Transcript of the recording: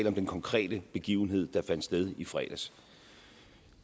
om den konkrete begivenhed der fandt sted i fredags